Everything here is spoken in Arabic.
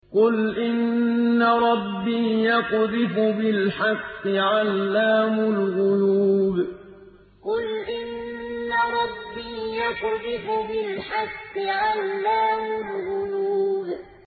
قُلْ إِنَّ رَبِّي يَقْذِفُ بِالْحَقِّ عَلَّامُ الْغُيُوبِ قُلْ إِنَّ رَبِّي يَقْذِفُ بِالْحَقِّ عَلَّامُ الْغُيُوبِ